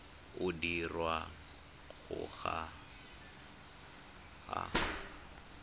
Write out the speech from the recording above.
o dirwang ga o a